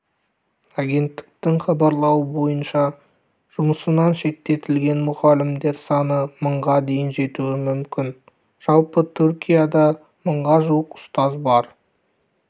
агенттіктің хабарлауынша жұмысынан шеттетілген мұғалімдер саны мыңға дейін жетуі мүмкін жалпы түркияда мыңға жуық ұстаз бар